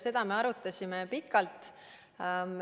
Seda me arutasime pikalt.